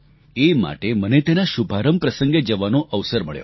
એ માટે મને તેના શુભારંભ પ્રસંગે જવાનો અવસર મળ્યો